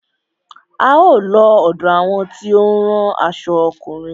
A ó lọ ọ̀dọ àwọn tí ó ń rán aṣo ọkùnrin.